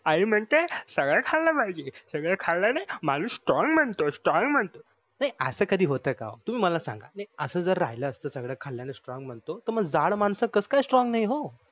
आई म्हणते सगळे खाल्ले पाहिजे सगळे खाल्यानेने माणूस strong बनतो strong बनतो नाही अस कधी होत का तुम्ही मला सांगा असं जर राहील असत सगळे खाल्ल्याने strong बनतो तर मग जाड मानस कस काय strong का नाही हो